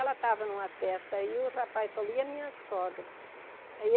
Ela estava em uma festa e o rapaz falou, e a minha sogra? Aí